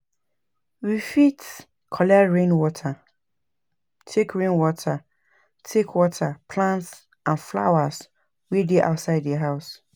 We fit collect rain water take rain water take water plants and flowers wey dey outside di house